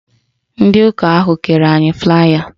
Ndị ụka ahụ kere anyị flaaya